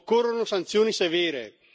occorrono sanzioni severe.